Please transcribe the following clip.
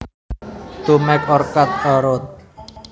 To make or cut a route